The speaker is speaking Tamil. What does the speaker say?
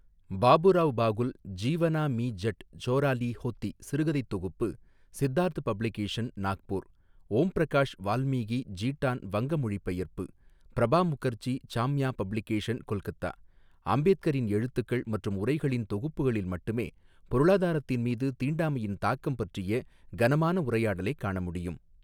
பாபுராவ் பாகுல் ஜீவனா மி ஜட் சோராலி ஹோத்தி சிறுகதைத் தொகுப்பு சித்தார்த் பப்ளிகேஷன் நாக்பூர் ஓம் பிரகாஷ் வால்மீகி ஜீட்டான் வங்க மொழி பெயர்ப்பு பிரபா முகர்ஜி சாம்யா பப்ளிகேஷன் கொல்கத்தா அம்பேத்கரின் எழுத்துக்கள் மற்றும் உரைகளின் தொகுப்புகளில் மட்டுமே பொருளாதாரத்தின் மீது தீண்டாமையின் தாக்கம் பற்றிய கனமான உரையாடலைக் காணமுடியும்.